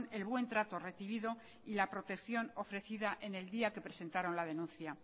el buen trato recibido y la protección ofrecida en el día que presentaron la denuncia